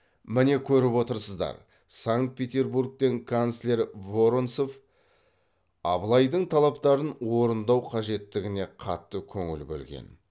міне көріп отырсыздар санкт петербургтен канцлер воронцов абылайдың талаптарын орындау қажеттігіне қатты көңіл бөлген